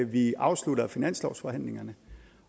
vi afslutter finanslovsforhandlingerne